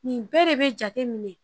Nin bɛɛ de bɛ jate minɛ